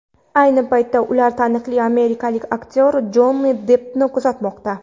Ayni paytda ular taniqli amerikalik aktyor Jonni Deppni kuzatmoqda.